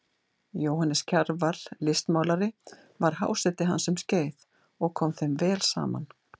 Jóhannes Kjarval listmálari var háseti hans um skeið og kom þeim vel saman.